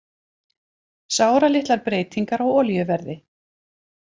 Sáralitlar breytingar á olíuverði